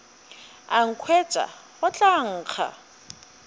a nkhwetša go tla nkga